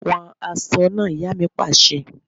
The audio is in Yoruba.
Wọn aṣọ náà! Ìyá mi pàṣẹ.